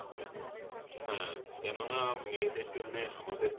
হ্যাঁ কেননা মেয়েদের জন্যে আমাদের